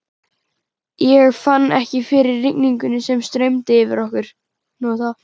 Ég fann ekki fyrir rigningunni sem streymdi yfir okkur.